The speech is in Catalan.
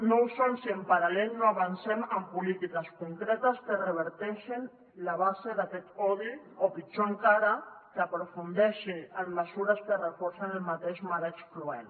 no ho són si en paral·lel no avancem en polítiques concretes que reverteixen la base d’aquest odi o pitjor encara que aprofundeixi en mesures que reforcen el mateix marc excloent